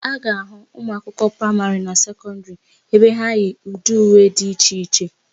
A ga-ahụ ụmụakwụkwọ praịmarị na sekọndịrị ebe ha yi ụdị uwe dị iche iche.